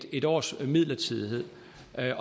en års midlertidighed